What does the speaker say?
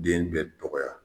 Den bɛ dɔgɔya